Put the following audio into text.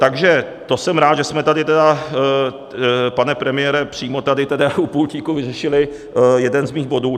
Takže to jsem rád, že jsme tady tedy, pane premiére, přímo tady tedy u pultíku vyřešili jeden z mých bodů.